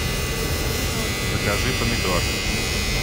помидор закажи помидор